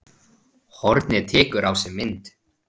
Hornið tekur á sig mynd